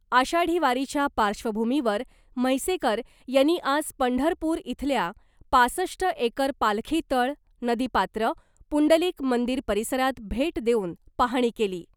आषाढी वारीच्या पार्श्वभूमीवर म्हैसेकर यांनी आज पंढरपूर इथल्या पासष्ट एकर पालखी तळ , नदी पात्र , पुंडलिक मंदिर परिसरात भेट देऊन पाहणी केली .